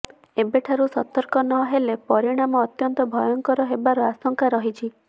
ଏବେଠାରୁ ସତର୍କ ନହେଲେ ପରିଣାମ ଅତ୍ୟନ୍ତ ଭୟଙ୍କର ହେବାର ଆଶଙ୍କା ରହିଛି